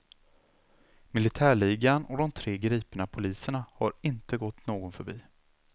Militärligan och de tre gripna poliserna har inte gått någon förbi.